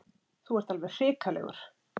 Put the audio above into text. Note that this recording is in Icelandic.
Þú ert alveg hrikalegur.